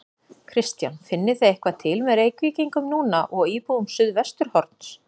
Kristján: Finnið þið eitthvað til með Reykvíkingum núna og íbúum Suðvesturhorns?